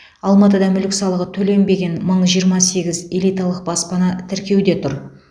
алматыда мүлік салығы төленбеген мың жиырма сегіз элиталық баспана тіркеуде тұр